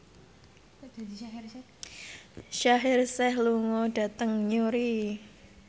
Shaheer Sheikh lunga dhateng Newry